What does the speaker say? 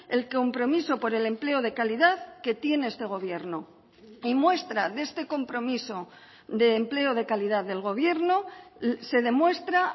el compromiso por el empleo de calidad que tiene este gobierno y muestra de este compromiso de empleo de calidad del gobierno se demuestra